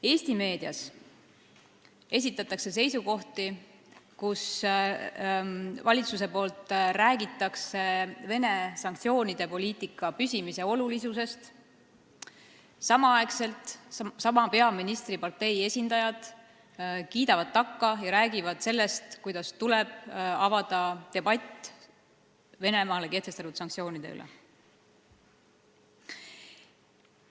Eesti meedias räägitakse valitsuse poolt Vene-vastaste sanktsioonide püsimise olulisusest, samal ajal kiidavad peaministripartei esindajad takka sellele ja räägivad sellest, et tuleb avada debatt Venemaa vastu kehtestatud sanktsioonide üle.